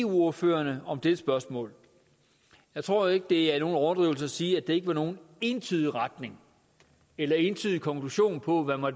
ordførererne om dette spørgsmål jeg tror ikke det er nogen overdrivelse at sige at der ikke var nogen entydig retning eller entydig konklusion på hvad